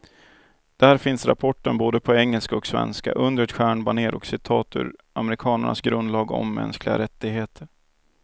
Där finns rapporten på både engelska och svenska, under ett stjärnbanér och citat ur amerikanernas grundlag om mänskliga rättigheter.